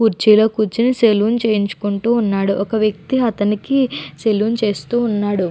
కుర్చీలో కూర్చుని సెలూన్ చేయించికుంటూ ఉన్నాడు ఒక వ్యక్తి అతనికి సెలూన్ చేస్తూ ఉన్నాడు.